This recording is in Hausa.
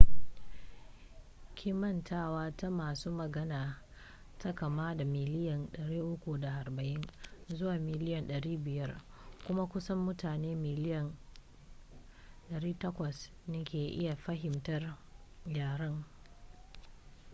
kimantawa ta masu magana ta kama daga miliyan 340 zuwa miliyan 500 kuma kusan mutane miliyan 800 ne ke iya fahimtar yaren